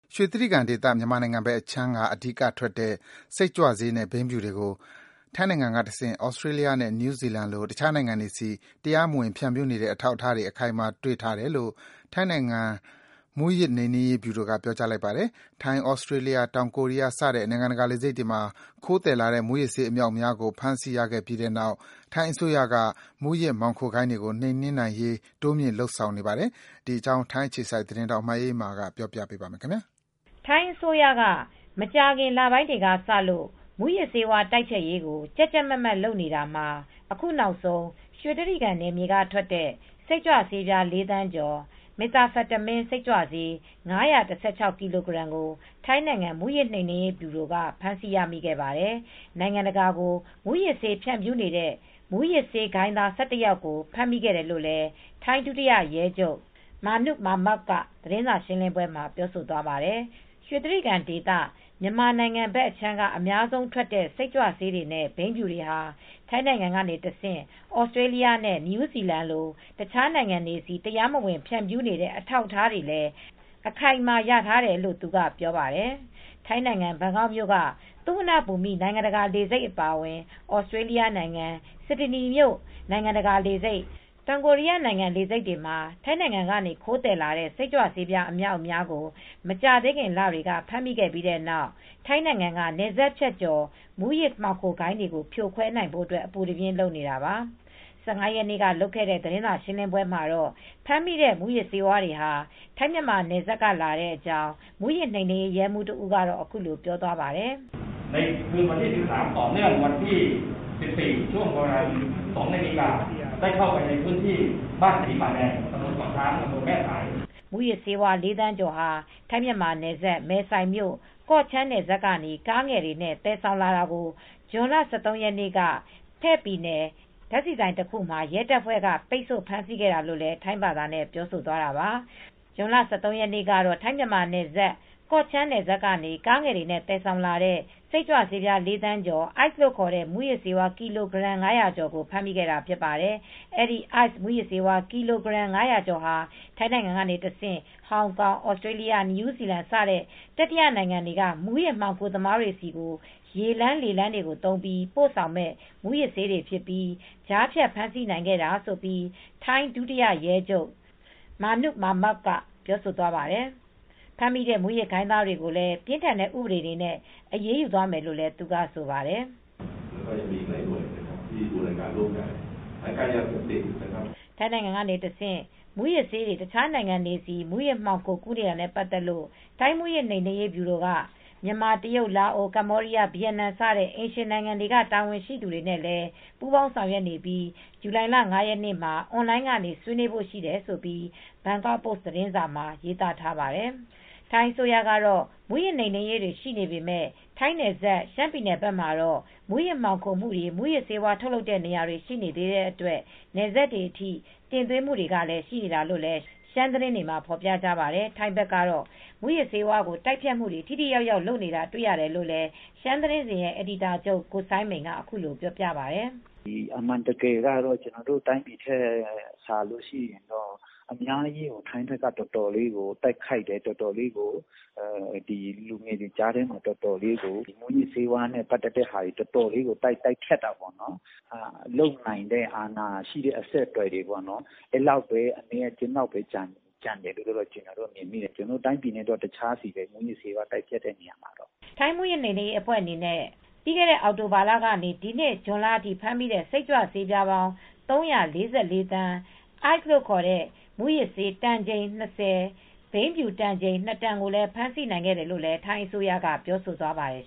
ရွှေတြိဂံဒေသ မြန်မာနိုင်ငံဘက်အခြမ်းက အဓိကထွက်တဲ့ စိတ်ကြွဆေးနဲ့ ဘိန်းဖြူတွေကို ထိုင်းနိုင်ငံကတဆင့် Australia နဲ့ New Zealand လို တခြားနိုင်ငံတွေဆီ တရားမဝင်ဖြန့်ဖြူးနေတဲ့ အထောက်အထားတွေ အခိုင်အမာတွေ့ထားတယ်လို့ ထိုင်းနိုင်ငံ မူးယစ်နှိမ်နင်းရေးဗြူရိုက ပြောကြားလိုက်ပါတယ်။ ထိုင်း၊ Australia၊ တောင်ကိုရီးယားစတဲ့နိုင်ငံတကာလေဆိပ်တွေမှာ ခိုးသယ်လာတဲ့ မူးယစ်ဆေး အမြောက်အများကို ဖမ်းဆီးရခဲ့ပြီးနောက် ထိုင်းအစိုးရက မူးယစ်မှောင်ခိုဂိုဏ်းတွေကို နှိမ်နှင်းနိုင်ရေး တိုးမြှင့်လုပ်နေပါတယ်။ ဒီအကြောင်း ထိုင်းအခြေစိုက်သတင်းထောက် မအေးအေးမာက တင်ပြပါမယ်။ ထိုင်းအစိုးရက မကြာခင်လပိုင်းတွေကစလို့ မူးယစ်ဆေးဝါးတိုက်ဖျက်ရေးကို ကြပ်ကြပ်မတ်မတ်လုပ်နေတာမှာ အခုနောက်ဆုံး ရွှေတြိဂံနယ်မြေကထွက်တဲ့ စိတ်ကြွဆေးပြား ၄ သန်းကျော်၊ Methamphetamine စိတ်ကြွဆေး ၅၁၆ ကီလိုဂရမ်ကို ထိုင်းနိုင်ငံ မူးယစ်နှိမ်နင်းရေးဗြူရိုက ဖမ်းဆီးရမိခဲ့ပါတယ်။ နိုင်ငံတကာကို မူးယစ်ဆေးဖြန့်ဖြူးနေတဲ့ မူယစ်ဆေးဂိုဏ်းသား ၁၁ ယောက်ကို ဖမ်းမိခဲ့တယ်လို့ ထိုင်းဒုတိယရဲချုပ် Manoo Mekmok ကသတင်းစာရှင်းပွဲမှာ ပြောကြားသွားခဲ့ပါတယ်။ ရွှေတြိဂံဒေသ မြန်မာနိုင်ငံဖက်အခြမ်းက အများဆုံးထွက်တဲ့ စိတ်ကြွဆေးတွေနဲ့ ဘိန်းဖြူတွေဟာ ထိုင်းနိုင်ငံကနေတဆင့် Australia နဲ့ New Zealand လို တခြားနိုင်ငံတွေဆီ တရားမဝင် ဖြန့်ဖြူးနေတဲ့ အထောက်အထားတွေလည်း အခိုင်အမာရထားတယ်လို့ သူက ပြောပါတယ်။ ထိုင်းနိုင်ငံဘန်ကောက်မြို့က သူဝဏ္ဏဘူမိနိုင်ငံတကာလေဆိပ်အပါအဝင်၊ Australia နိုင်ငံ Sydney မြို့နိုင်ငံတကာလေဆိပ်၊ တောင်ကိုရီးယားနိုင်ငံ Incheon လေဆိပ်တွေမှာ ထိုင်းနိုင်ငံကနေ ခိုးသယ်လာတဲ့ စိတ်ကြွဆေးအမြောက်အများကို မကြာခင်လတွေအတွင်း ဖမ်းဆီးမိခဲ့ပြီးနောက် ထိုင်းနိုင်ငံက နယ်စပ်ဖြတ်ကျော် မူးယစ်မှောင်ခိုဂိုဏ်းတွေကို ဖြိုခွဲနိုင်ဖို့ အပူတပြင်းလုပ်နေတာပါ။ ၁၅ရက်နေ့ကလုပ်တဲ့သတင်းစာရှင်းလင်းပွဲမှာတော့ ဖမ်းမိတဲ့မူးယစ်ဆေးဝါးတွေဟာ ထိုင်းမြန်မာနယ်စပ်ကလာတဲ့ အကြောင်းမူးယစ်နှိမ်နင်းရေးရဲမူးတဦးကတော့အခုလိုပြောသွားပါတယ်။ "မူးယစ်ဆေး လေးသန်းကျော်ဟာ ထိုင်းမြန်မာ နယ်စပ် မယ်ဆိုင် မြို့၊ ကော့ချန်း နယ်စပ်ကနေ ကားငယ်တွေနဲ့ သယ်ဆောင်လာတာကို ဇွန်လ ၁၃ ရက်နေ့က ဖယ့်ပြည်နယ် ဓါတ်ဆီဆိုင်တစ်ခုမှာ ရဲတပ်ဖွဲ့က ပိတ်ဆို့ဖမ်းခဲ့တာလို့ထိုင်းဘာသာနဲ့ပြောသွားတာပါ" ဇွန်လ ၁၃ ရက်နေ့ကတော့ ထိုင်းမြန်မာ နယ်စပ် မယ်ဆိုင်မြို့ ၊ ကော့ချန်းနယ်စပ်ကနေ ကားငယ်တွေနဲ့ သယ်ဆောင်လာတဲ့ စိတ်ကြွဆေးပြား ၄ သန်းကျော်၊ အိုက်စ်လို့ခေါ်တဲ့မူးယစ်ဆေးကီလိုဂရမ် ၅၀၀ ကျော်ကို ဖမ်းမိခဲ့တာဖြစ်ပါတယ်။ အဲဒီ အိုက်စ် မူးယစ်ဆေးဝါး ကီလိုဂရမ် ၅၀၀ ကျော်ဟာ ထိုင်းနိုင်ငံကနေတဆင့် ဟောင်ကောင်၊ သြစတေလျ နယူးဇီလန် စတဲ့ တတိယ နိုင်ငံတွေက မူးယစ်မှောင်ခို သမားတွေဆီ ရေလမ်း ၊ လေလမ်းကြောင်းတွေသုံးပြီး ပို့ဆောင်မယ့် မူးယစ်ဆေးတွေဖြစ်ပြီး ကြားဖြတ်ဖမ်းဆီးနိုင်ခဲ့တယ်လို့ ထိုင်းဒုရဲချုပ် Manoo Mekmok ကပြောပါတယ်။ ဖမ်းမိတဲ့ မူးယစ်မှောင်ဆိုဂိုဏ်းသားတွေကိုလည်း ပြင်းထန်တဲ့ ဥပဒေတွေနဲ့ အရေးယူသွားမယ်လို့ သူကပြောပါတယ်။ ထိုင်းနိုင်ငံကတဆင့် မူးယစ်ဆေးတွေ တခြားနိုင်ငံတွေဆီ မှောင်ခိုကူးနေတာနဲပ့ါတ်သက်လို့ ထိုင်းမူးယစ်နှိမ်နှင်းရေးဗြူရိုက မြန်မာ၊ တရုတ်၊ လာအို၊ ကမ္ဘောဒီးယား၊ ဗီယက်နမ် စတဲ့အိမ်နီးချင်းနိုင်ငံတွေက တာဝန်ရှိသူတွေနဲ့လည်း ပူးပေါင်းဆောင်ရွက်နေပြီး ဇူလိုင် ၅ ရက်နေ့မှာ အွန်လိုင်းကနေ ဆွေးနွေးဖို့ရှိတယ်လို့ ဘန်ကောက်ပိုစ့်သတင်းစာမှာ ရေးသားထားပါတယ်။ ထိုင်းအစိုးရက တော့ မူးယစ်နှိမ်နင်းရေးတွေရှိနေပေမယ် ထိုင်းနဲ့နယ်စပ် ရှမ်းပြည်ဘက်မှာတော့ မူးယစ်မှောင်ခိုမူတွေ မူးယစ်ဆေးဝါးထုတ်လုပ်တဲ့နေရာတွေ ရှိနေသေးတဲ့အတွက် နယ်စပ်တွေအထိ တင်သွင်းမူတွေကလည်းရှိနေတာလို့လည်း ရှမ်းသတင်းတွေကဖော်ပြကြပါတယ်။ ထိုင်းဘက်ကတော့ မူးယစ်ဆေးဝါးကိုတိုက်ဖျက်မူတွေထိထိရောက်ရောက်လုပ်တာတွေရတယ်လို့ ရှမ်းသတင်းစဉ်ရဲ့အယ်ဒီတာချုပ် ကိုစိုင်းမိန်ကလည်းပြောပြပါတယ်။ "အမှန်တကယ်ကတော့ ကျနော်တို့တိုင်းပြည်ထက်စာရင် ထိုင်းဘက်ကအများကြီးတိုက်ဖျက်တယ်။ လူငယ်တွေကြားမှာ မူယစ်ဆေးဝါးကိုတော်တော်တိုက်ဖျက်တယ်။ လုပ်နိုင်တဲ့အာဏာရှိတဲ့အဆက်အသွယ်လောက်ပဲအနည်းအကျဉ်းလောက်ပဲကျန်တယ်လို့ကျနော်ထင်တယ်။ ကျနော်တို့တိုင်းပြည်နဲ့တခြားစီပဲ ။ မူးယစ်ဆေးဝါးတိုက်ဖျက်တဲ့နေရာမှာပေါ့" ထိုင်းမူးယစ်နိမ်နင်းရေးတပ်ဖွဲ့အနေနဲ့ ပြီးခဲ့တဲ့နှစ် အောင်တိုဘာလကနေ ဒီနှစ်ဇွန်လ အထိ ဖမ်းမိတဲ့ စိတ်ကြွဆေးပြားပေါင်း ၃၄၄သန်း ၊အိုက်စ်မူးယစ်ဆေးတန်ချိန် ၂၀၊ ဘိန်းဖြူတန်ချိန် နှစ်တန် ကို ဖမ်းဆီး နိုင်ခဲ့တယ်လို့လည်းထိုင်းအစိုးရက ပြောဆိုသွားပါတယ်